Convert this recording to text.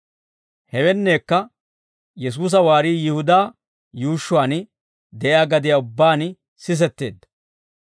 Hewenneekka Yesuusa waarii Yihudaa yuushshuwaan de'iyaa gadiyaa ubbaan sisetteedda.